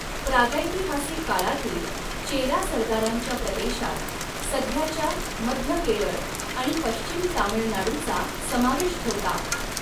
प्रागैतिहासिक काळातील चेरा सरदारांच्या प्रदेशात सध्याच्या मध्य केरळ आणि पश्चिम तामीळनाडूचा समावेश होता.